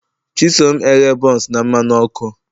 Chisom eghe buns na mmanụ ọkụ